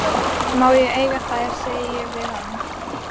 Má ég eiga þær, segi ég við hann.